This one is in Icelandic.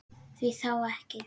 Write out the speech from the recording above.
Því þá ekki?